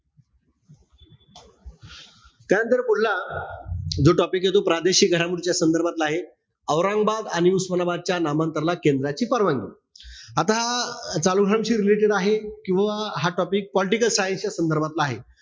त्यानंतर पुढला जो topic ए तो प्रादेशिक घडामोडीच्या संदर्भातला आहे. औरंगाबाद आणि उस्मानाबादच्या नामांतराला केंद्राची परवानगी. आता शी related आहे किंवा हा topic political science च्या संदर्भातला आहे.